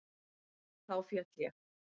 Þá féll ég.